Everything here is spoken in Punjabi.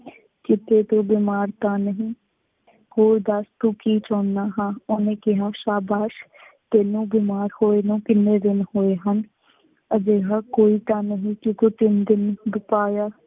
ਕਿਤੇ ਤੂੰ ਬਿਮਾਰ ਤਾਂ ਨਹੀਂ। ਹੋਰ ਦੱਸ ਤੂੰ ਕੀ ਚਾਹੁੰਦਾ ਹਾਂ, ਉਹਨੇ ਕਿਹਾ ਸ਼ਾਬਾਸ਼, ਤੈਂਨੂੰ ਬਿਮਾਰ ਹੋਏ ਨੂੰ ਕਿੰਨੇ ਦਿਨ ਹੋਏ ਹਨ, ਅਜਿਹਾ ਕੋਈ ਤਾਂ ਨਹੀਂ, ਜਿਹਦੇ ਕੋਲ ਤਿੰਨ ਦਿਨ